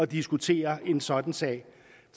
diskutere en sådan sag